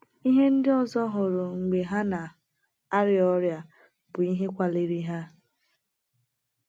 Ihe ndị ọzọ hụrụ mgbe ha na - arịa ọrịa bụ ihe kwaliri ha.